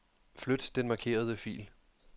Flyt den markerede fil.